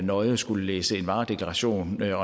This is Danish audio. nøje at skulle læse en varedeklaration eller